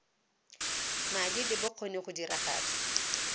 madi le bokgoni go diragatsa